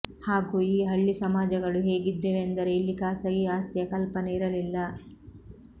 ಹಾಗೂ ಈ ಹಳ್ಳಿ ಸಮಾಜಗಳು ಹೇಗಿದ್ದವೆಂದರೆ ಇಲ್ಲಿ ಖಾಸಗಿ ಆಸ್ತಿಯ ಕಲ್ಪನೆ ಇರಲಿಲ್ಲ